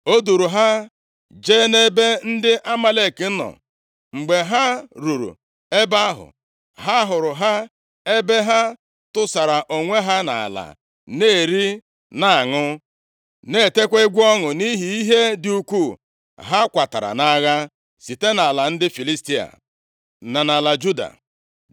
O duuru ha jee nʼebe ndị Amalek nọ. Mgbe ha ruru ebe ahụ, ha hụrụ ha ebe ha tụsara onwe ha nʼala na-eri na-aṅụ, na-etekwa egwu ọṅụ, nʼihi ihe dị ukwuu ha kwatara nʼagha site nʼala ndị Filistia, na nʼala Juda.